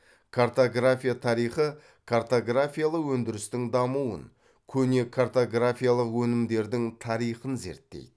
картография тарихы картографиялы өндірістің дамуын көне картографиялық өнімдердің тарихын зерттейді